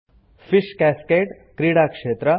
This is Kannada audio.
ಫಿಶ್ ಕ್ಯಾಸ್ಕೇಡ್ - ಕ್ರೀಡಾ ಕ್ಷೇತ್ರ